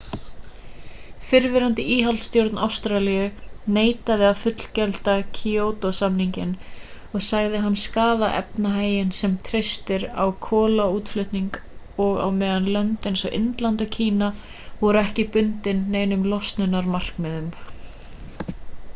fyrrverandi íhaldsstjórn ástralíu neitaði að fullgilda kýótó-samninginn og sagði hann skaða efnahaginn sem treysti á kolaútflutning á meðan lönd eins og indland og kína voru ekki bundin neinum losunarmarkmiðum